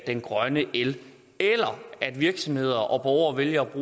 den grønne el eller at virksomheder og borgere vælger at